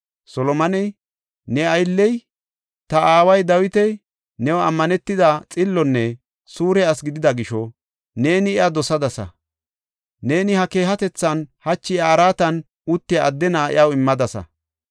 Solomoney, “Ne aylley, ta aaway Dawiti new ammanetida, xillonne suure asi gidida gisho, neeni iya dosadasa. Neeni ha keehatethan, hachi iya araatan uttiya adde na7aa iyaw immadasa.